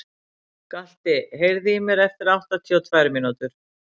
Galti, heyrðu í mér eftir áttatíu og tvær mínútur.